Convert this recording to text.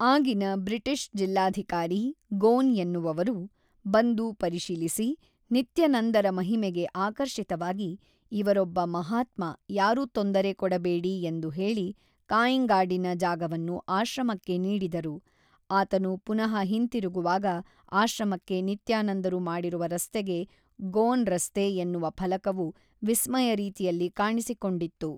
ಆಗಿನ ಬ್ರಿಟಿಷ್ ಜಿಲ್ಲಾಧಿಕಾರಿ ಗೋನ್ ಎನ್ನುವವರು ಬಂದು ಪರಿಶೀಲಿಸಿ ನಿತ್ಯನಂದರ ಮಹಿಮೆಗೆ ಆಕರ್ಷಿತವಾಗಿ ಇವರೊಬ್ಬ ಮಹಾತ್ಮ ಯಾರು ತೊಂದರೆ ಕೊಡಬೇಡಿ ಎಂದು ಹೇಳಿ ಕಾಂಇಂಗಾಡಿನ ಜಾಗವನ್ನು ಆಶ್ರಮಕ್ಕೆ ನೀಡಿದರು ಆತನು ಪುನಃ ಹಿಂತಿರುಗುವಾಗ ಆಶ್ರಮಕ್ಕೆ ನಿತ್ಯಾನಂದರು ಮಾಡಿರುವ ರಸ್ತೆಗೆ ಗೋನ್ ರಸ್ತೆ ಎನ್ನುವ ಫಲಕವು ವಿಸ್ಮಯ ರೀತಿಯಲ್ಲಿ ಕಾಣಿಸಿಕೊಂಡಿತ್ತು.